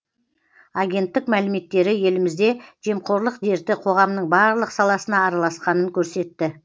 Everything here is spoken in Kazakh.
агенттік мәліметтері елімізде жемқорлық дерті қоғамның барлық саласына араласқанын көрсетті